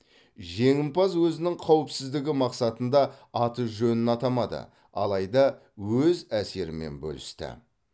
жеңімпаз өзінің қауіпсіздігі мақсатында аты жөнін атамады алайда өз әсерімен бөлісті